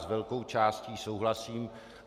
S velkou částí souhlasím.